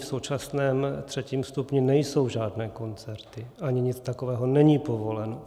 V současném třetím stupni nejsou žádné koncerty, ani nic takového není povoleno.